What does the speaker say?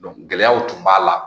gɛlɛyaw tun b'a la.